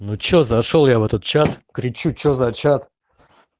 ну что зашёл я в этот чат кричу что за чат